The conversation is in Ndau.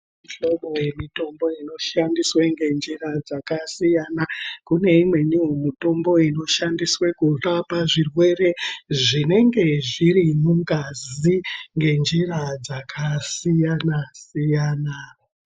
Mihlobo yemitombo inoshandiswe ngenjira dzakasiyana. Kune imweniwo mutombo inoshandiswe kurapa zvirwere zvinenge zviri mungazi ngenjira dzakasiyana-siyana.